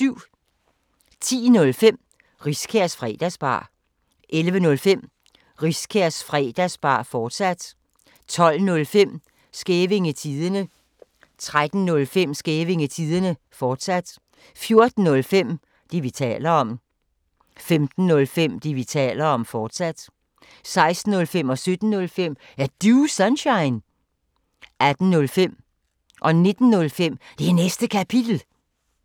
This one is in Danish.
10:05: Riskærs Fredagsbar 11:05: Riskærs Fredagsbar, fortsat 12:05: Skævinge Tidende 13:05: Skævinge Tidende, fortsat 14:05: Det, vi taler om 15:05: Det, vi taler om, fortsat 16:05: Er Du Sunshine? 17:05: Er Du Sunshine? 18:05: Det Næste Kapitel 19:05: Det Næste Kapitel, fortsat